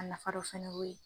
A nafa dɔ fana y'o ye